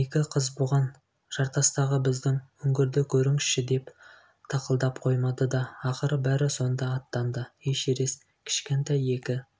екі қыз бұған жартастағы біздің үңгірді көріңізші деп тақылдап қоймады да ақыры бәрі сонда аттанды эшерест кішкентай екі